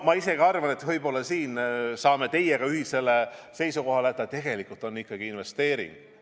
Ma arvan, et võib-olla siin me oleme teiega ühisel seisukohal, et see tegelikult on ikkagi investeering.